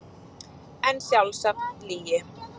En sjálfsagt lygi.